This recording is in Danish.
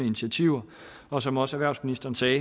initiativer og som også erhvervsministeren sagde